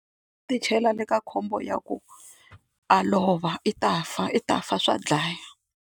U ti chela le ka khombo ya ku a lova i ta fa i ta fa swa dlaya.